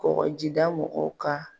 Kɔkɔjida mɔgɔw ka